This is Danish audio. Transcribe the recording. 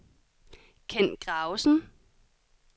Ken Gravesen